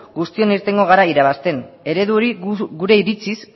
guztiok irtengo gara irabazten eredu hori gure iritziz